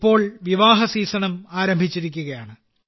ഇപ്പോൾ വിവാഹ സീസണും ആരംഭിച്ചിരിക്കുകയാണ്